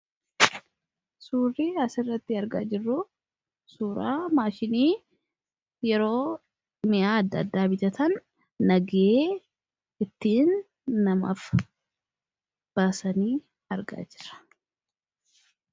Surrii as irratti argaa jiruu kuni, suuraa mashinni yeroo mi'aa adda addaa bitataan nagahee ittin namaaf baasaan argaa jira.